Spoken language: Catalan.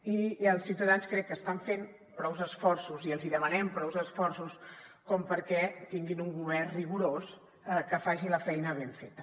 i els ciutadans crec que estan fent prous esforços i els demanem prous esforços com perquè tinguin un govern rigorós que faci la feina ben feta